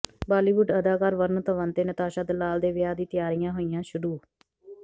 ਬਾਲੀਵੁੱਡ ਅਦਾਕਾਰ ਵਰੁਣ ਧਵਨ ਤੇ ਨਤਾਸ਼ਾ ਦਲਾਲ ਦੇ ਵਿਆਹ ਦੀ ਤਿਆਰੀਆਂ ਹੋਈਆਂ ਸ਼ੁਰੂ